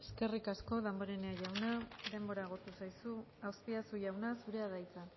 eskerrik asko damborenea jauna denbora agortu zaizu azpiazu jauna zurea da hitza